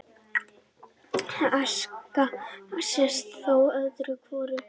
Aska sést þó öðru hvoru